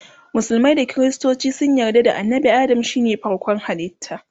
musulmai da kristoci sun yarda annabi Adam shine farkon halitta